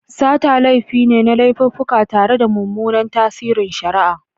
Sata laifi ne na laififuka tare da mummunan tasirin shari'a.